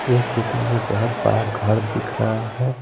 इस चित्र में बहुत बड़ा घर दिख रहा है।